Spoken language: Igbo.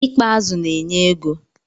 I kpa azụ na-enye ego.